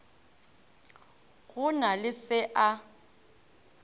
go na le se a